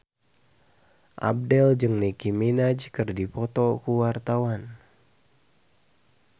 Abdel jeung Nicky Minaj keur dipoto ku wartawan